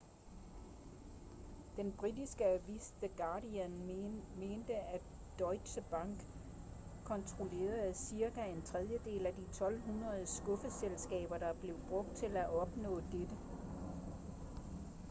den britiske avis the guardian mente at deutsche bank kontrollerede cirka en tredjedel af de 1200 skuffeselskaber der blev brugt til at opnå dette